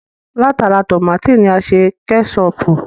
Látara tómátì ni a ti ṣe Kẹ́ṣọpù